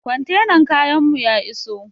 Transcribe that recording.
Kwantenar kayan mu ya iso